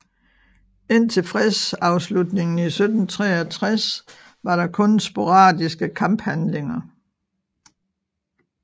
Indtil fredsafslutningen i 1763 var der kun sporadiske kamphandlinger